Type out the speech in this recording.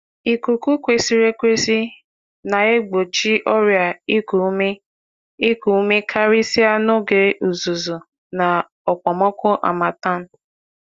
Ikuku ọma na-enye aka igbochi ọrịa iku ume, ọkachasị n’oge unyi uguru na okpomọkụ. na okpomọkụ.